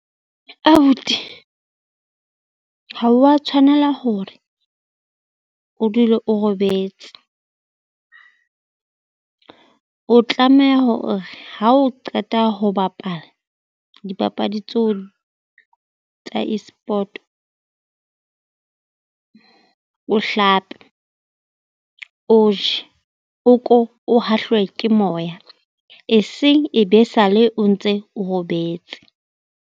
Abuti ha wa tshwanela hore o dule o robetse, o tlameha hore ha o qeta ho bapala dipapadi tseo tsa E-sport o hlape, o je ko o hahlwe ke moya eseng e be sale o ntse o robetse.